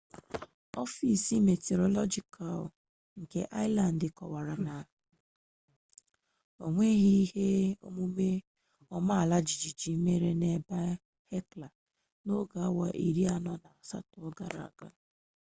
ọfis mitiọrọlọjikal nke aịzilandị kọkwara na o nweghi ihe omume ala ọma jijiji mere n'ebe hekla n'oge awa iri anọ na asatọ gara aga